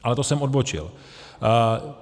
Ale to jsem odbočil.